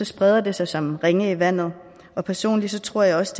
spreder det sig som ringe i vandet og personligt tror jeg også